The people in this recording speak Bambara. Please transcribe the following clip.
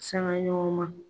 Sangaɲɔgɔn man .